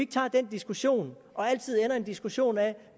tager den diskussion og altid ender i en diskussion af